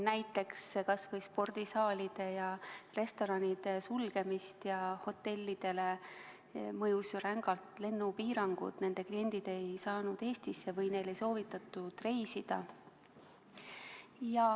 Näiteks spordisaalide ja restoranide sulgemine, hotellidele mõjusid rängalt lennupiirangud – nende kliendid ei saanud Eestisse või neil ei soovitatud reisida.